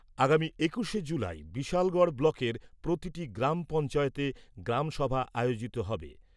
আগামী একুশে জুলাই বিশালগড় ব্লকের প্রতিটি গ্রাম পঞ্চায়েতে গ্রামসভা আয়োজিত হবে।